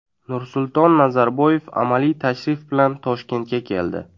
Nursulton Nazarboyev amaliy tashrif bilan Toshkentga keldi.